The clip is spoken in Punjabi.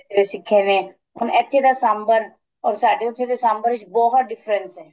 ਸਿੱਖੇ ਨੇ ਹੁਣ ਇੱਥੇ ਦਾ ਸਾਂਬਰ or ਸਾਡੇ ਉੱਥੇ ਦੇ ਸਾਂਬਰ ਵਿੱਚ ਬਹੁਤ difference ਹੈ